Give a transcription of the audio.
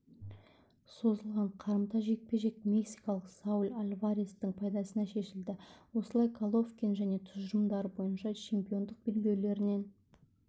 созылған қарымта жекпе-жек мексикалық сауль альварестің пайдасына шешілді осылайша головкин және тұжырымдары бойынша чемпиондық белбеулерінен